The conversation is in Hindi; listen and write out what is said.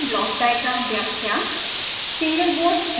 sbhs की ब्लॉक डायग्राम व्याख्या